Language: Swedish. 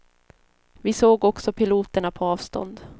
Vi såg också piloterna på avstånd.